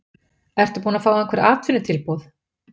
Ertu búinn að fá einhver atvinnutilboð?